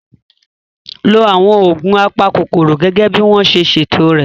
Lo àwọn oògùn apakòkòrò gẹ́gẹ́ bí wọ́n ṣe ṣètò rẹ̀